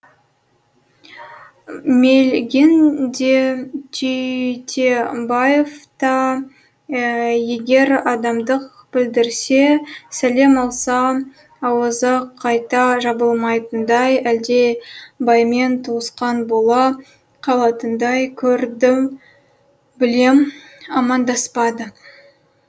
мелыгин де түйтебаев та егер амандық білдірсе сәлем алса ауызы қайта жабылмайтындай әлде баймен туысқан бола қалатындай көрді білем амандаспады